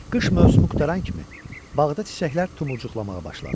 Qış mövsümü qurtaran kimi, bağda çiçəklər tumurcuqlamağa başladı.